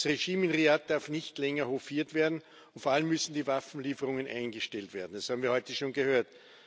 Das Regime in Riad darf nicht länger hofiert werden, und vor allem müssen die Waffenlieferungen eingestellt werden. Das haben wir heute schon gehört.